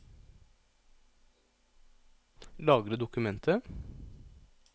Lagre dokumentet